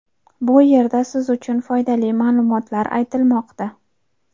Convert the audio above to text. Bu yerda siz uchun foydali ma’lumotlar aytilmoqda.